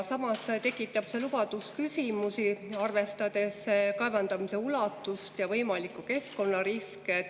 Samas tekitab see lubadus küsimusi, arvestades kaevandamise ulatust ja võimalikke keskkonnariske.